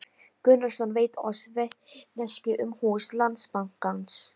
Gunnarsson veitt oss vitneskju um hús Landsbankans.